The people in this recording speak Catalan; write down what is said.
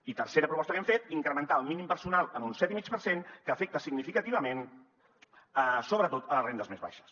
i tercera proposta que hem fet incrementar el mínim personal en un set i mig per cent que afecta significativament sobretot les rendes més baixes